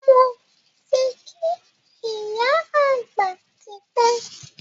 Moti kí ìyá àgbà tipẹ́